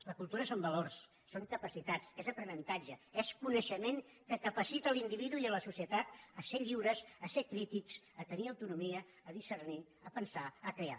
la cultura són valors són capacitats és aprenentatge és coneixement que capacita l’individu i la societat a ser lliures a ser crítics a tenir autonomia a discernir a pensar a crear